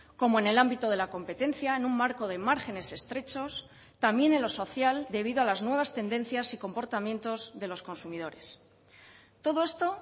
como en el ámbito de la competencia en un marco de márgenes estrechos también en lo social debido a las nuevas tendencias y comportamientos de los consumidores todo esto